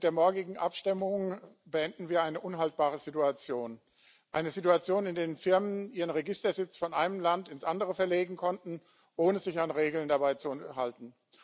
Mit der morgigen Abstimmung beenden wir eine unhaltbare Situation eine Situation, in der Firmen ihren Registersitz von einem Land ins andere verlegen konnten, ohne sich dabei an Regeln zu halten.